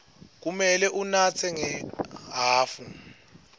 kumele unatse ngehhafu